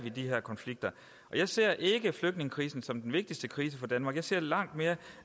de her konflikter jeg ser ikke flygtningekrisen som den vigtigste krise for danmark jeg ser langt mere